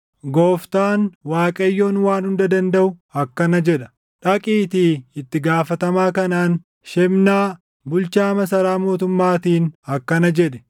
Gooftaan, Waaqayyoon Waan Hunda Dandaʼu akkana jedha: “Dhaqiitii itti gaafatamaa kanaan, Shebnaa, bulchaa masaraa mootummaatiin akkana jedhi: